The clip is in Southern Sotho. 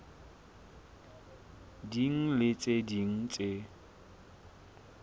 ding le tse ding tse